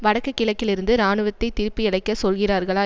வடக்கு கிழக்கில் இருந்து இராணுவத்தை திருப்பியழைக்கச் சொல்கிறீர்களா